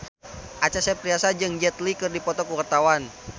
Acha Septriasa jeung Jet Li keur dipoto ku wartawan